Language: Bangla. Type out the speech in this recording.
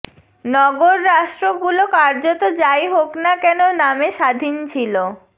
নগররাস্ট্রগুলো কার্যত যাই হোক না কেন নামে স্বাধীন ছিল